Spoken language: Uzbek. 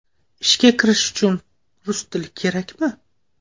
Ishga kirish uchun rus tili kerakmi?